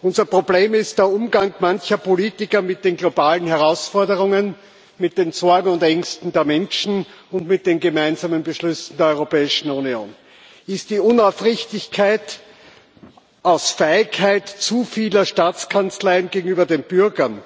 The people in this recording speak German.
Unser Problem ist der Umgang mancher Politiker mit den globalen Herausforderungen, mit den Sorgen und Ängsten der Menschen und mit den gemeinsamen Beschlüssen der Europäischen Union, ist die Unaufrichtigkeit aus Feigheit zu vieler Staatskanzleien gegenüber den Bürgern